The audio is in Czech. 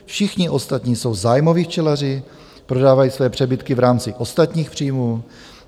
Všichni ostatní jsou zájmoví včelaři, prodávají své přebytky v rámci ostatních příjmů.